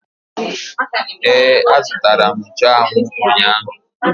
Ee, azụtara m nchụanwụ ụnyaahụ